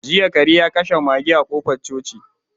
Jiya kare ya kashe mage a kofar coci.